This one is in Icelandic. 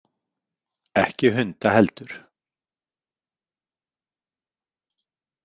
Ekki hunda heldur.